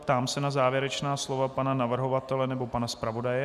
Ptám se na závěrečná slova pana navrhovatele nebo pana zpravodaje.